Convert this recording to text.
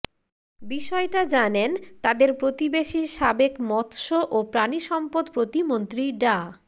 বিষয়টা জানেন তাদের প্রতিবেশী সাবেক মৎস্য ও প্রাণিসম্পদ প্রতিমন্ত্রী ডা